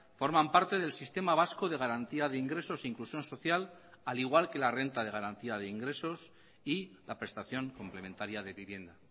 forman parte del sistema vasco de garantía de ingresos e inclusión social al igual que la renta de garantía de ingresos y la prestación complementaria de vivienda